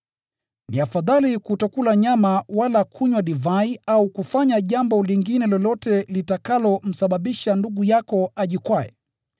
Ni afadhali kutokula nyama wala kunywa divai au kufanya jambo lingine lolote litakalomsababisha ndugu yako ajikwae.